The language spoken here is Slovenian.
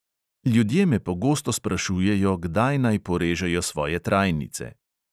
Ljudje me pogosto sprašujejo, kdaj naj porežejo svoje trajnice?